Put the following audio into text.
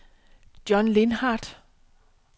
John Lindhardt